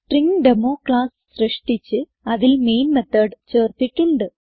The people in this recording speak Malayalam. സ്ട്രിംഗ്ഡെമോ ക്ലാസ് സൃഷ്ടിച്ച് അതിൽ മെയിൻ മെത്തോട് ചേർത്തിട്ടുണ്ട്